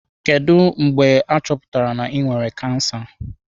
Kedu mgbe a chọpụtara na ị nwere kansa?